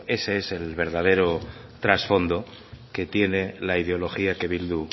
ese es el verdadero trasfondo que tiene la ideología que bildu